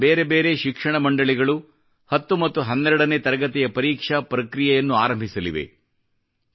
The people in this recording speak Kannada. ದೇಶಾದ್ಯಂತ ಬೇರೆ ಬೇರೆ ಶಿಕ್ಷಣ ಮಂಡಳಿಗಳು 10 ಮತ್ತು 12 ನೇ ತರಗತಿಯ ಪರೀಕ್ಷಾ ಪ್ರಕ್ರಿಯೆಯನ್ನು ಆರಂಭಿಸಲಿದ್ದಾರೆ